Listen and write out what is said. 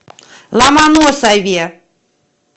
ломоносове